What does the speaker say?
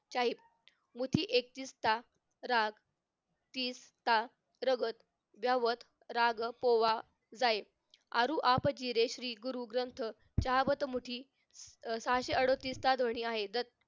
शाहीब मुठी एकटिस्था राग स्थिरता रहणं राग पोवा जाहे आरु आपचे श्री गुरु ग्रंथ चहावत मुठी अह सहाशे अडोतीस चा धोनी आहे.